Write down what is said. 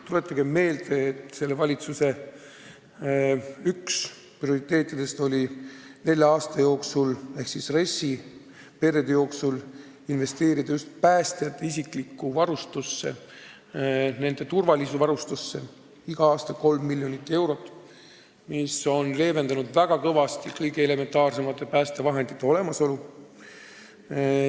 Tuletagem meelde, et üks selle valitsuse prioriteetidest on nelja aasta jooksul ehk siis RES-i perioodi jooksul investeerida just päästjate isiklikku varustusse, nende turvavarustusse igal aastal 3 miljonit eurot, mis on kõvasti leevendanud kõige elementaarsemate päästevahendite puudust.